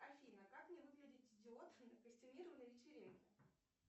афина как не выглядеть идиотом на костюмированной вечеринке